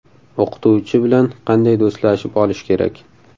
O‘qituvchi bilan qanday do‘stlashib olish kerak?.